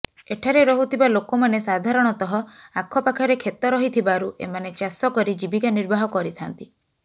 ଏଠାରେ ରହୁଥିବା ଲୋକମାନେ ସାଧାରଣତଃ ଆଖପାଖରେ କ୍ଷେତ ରହିଥିବାରୁ ଏମାନେ ଚାଷ କରି ଜୀବିକା ନିର୍ବାହ କରିଥାଆନ୍ତି